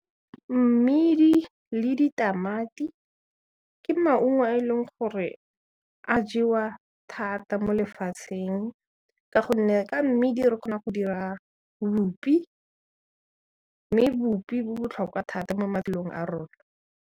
Mmidi le ditamati ke maungo a e leng gore a jewa thata mo lefatsheng ka gonne ka mmidi re kgona go dira bupi, mme bupi bo botlhokwa thata mo maphelong a rona.